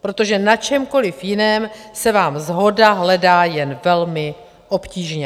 protože na čemkoli jiném se vám shoda hledá jen velmi obtížně.